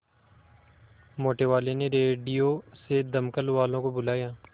मोटेवाले ने रेडियो से दमकल वालों को बुलाया